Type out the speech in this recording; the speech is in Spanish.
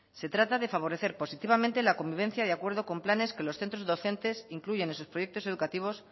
se trata de favorecer positivamente la convivencia y acuerdo con planes que los centros docentes incluyen en sus proyectos educativos